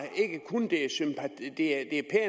det er